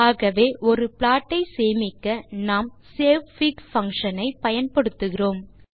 ஆகவே ஒரு ப்ளாட் ஐ சேமிக்க நாம் சேவ்ஃபிக் பங்ஷன் ஐ பயன்படுத்துகிறோம்